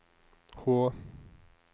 H